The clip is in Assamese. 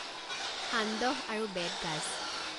সান্দহ আৰু বেত গাঁজ